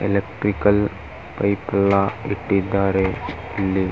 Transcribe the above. Electrical pipe ಎಲ್ಲಾ ಇಟ್ಟಿದ್ದಾರೆ ಇಲ್ಲಿ .